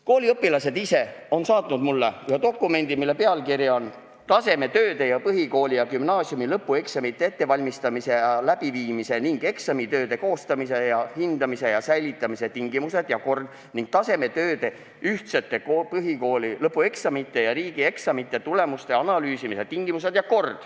Kooliõpilased ise on saatnud mulle ühe dokumendi, mille pealkiri on "Tasemetööde ning põhikooli ja gümnaasiumi lõpueksamite ettevalmistamise ja läbiviimise ning eksamitööde koostamise, hindamise ja säilitamise tingimused ja kord ning tasemetööde, ühtsete põhikooli lõpueksamite ja riigieksamite tulemuste analüüsimise tingimused ja kord".